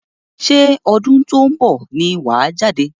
Ṣé ọdún tó ń bọ̀ ni wàá jáde?